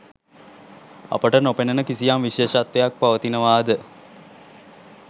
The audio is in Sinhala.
අපට නොපෙනෙන කිසියම් විශේෂත්වයක් පවතිනවා ද?